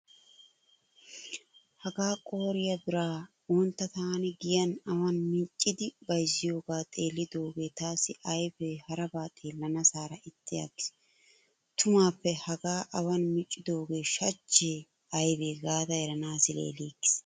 Hagaa qooriya biraa wontta taani giyan awan miccidi bayzziyoogaa xeellidoogee taassi ayfe haraba xeellanaassaara ixxi aggiis. Tumuppe haga awan miccidoogee shachche aybe gaada eranaassi leeliigiis.